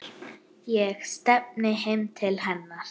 Ég stefni heim til hennar.